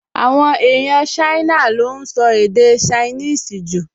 Àwọn èèyàn Ṣáínà ló ún sọ èdè ṣainíìsì jù